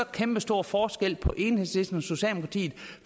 kæmpestor forskel på enhedslisten og socialdemokratiet